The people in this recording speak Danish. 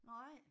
Nej